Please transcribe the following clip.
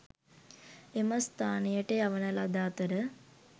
එම ස්ථානයට යවන ලද අතර